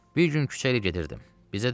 Bir gün küçədə gedirdim.